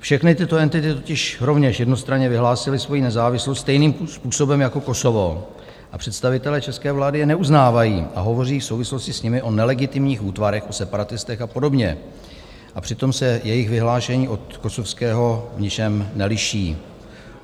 Všechny tyto entity totiž rovněž jednostranně vyhlásily svoji nezávislost stejným způsobem jako Kosovo, představitelé české vlády je neuznávají a hovoří v souvislosti s nimi o nelegitimních útvarech, o separatistech a podobně, a přitom se jejich vyhlášení od kosovského v ničem neliší.